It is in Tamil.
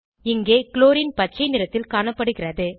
இங்கே க்ளோரின் பச்சை நிறத்தில் காணப்படுகிறது